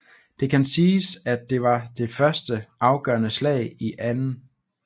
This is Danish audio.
Det kan siges at det var det første afgørende slag i 2